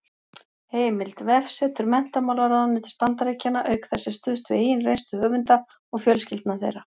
Heimild: Vefsetur menntamálaráðuneytis Bandaríkjanna Auk þess er stuðst við eigin reynslu höfunda og fjölskyldna þeirra.